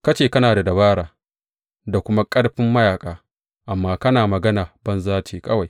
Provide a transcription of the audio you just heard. Ka ce kana da dabara da kuma ƙarfin mayaƙa, amma kana magana banza ce kawai.